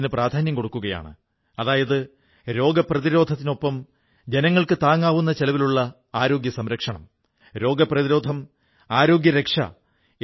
അവയെല്ലാം രാജ്യത്തിന്റെ ഒരു ഭാഗത്തു കഴിയുന്ന പൌരൻമാരുടെ മനസ്സിൽ മറ്റൊരു ഭാഗത്തു താമസിക്കുന്ന പൌരന് സ്വാഭാവികതയും സ്വന്തമെന്ന ബോധവും ഉണർത്തുന്നവിധത്തിലുള്ളതായിരിക്കണം